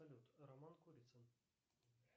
салют роман курицын